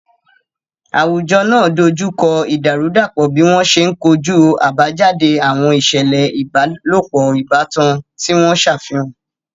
Àwùjọ náà dojú kọ ìdàrúdàpọ̀ bí wọ́n ṣe ń kojú àbájáde àwọn ìṣẹ̀lẹ̀ ìbálòpọ̀ ìbátan tí wọ́n ṣàfihàn.